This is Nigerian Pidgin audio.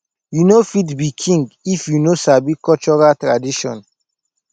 you no fit be king if you no sabi cultural tradition